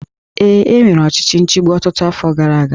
Ee, e nwere ọchịchị nchigbu ọtụtụ afọ gara aga